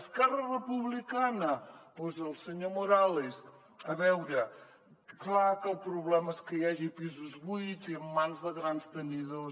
esquerra republicana doncs el senyor morales a veure clar que el problema és que hi hagi pisos buits i en mans de grans tenidors